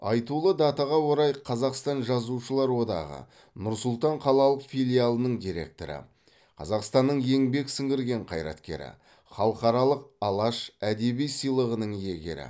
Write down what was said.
айтулы датаға орай қазақстан жазушылар одағы нұр сұлтан қалалық филиалының директоры қазақстанның еңбек сіңірген қайраткері халықаралық алаш әдеби сыйлығының иегері